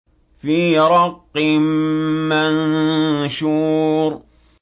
فِي رَقٍّ مَّنشُورٍ